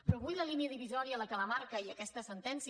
però avui la línia divisòria el que la marca i aquesta sentència